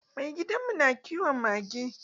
Maigadin mu na kiwon mage.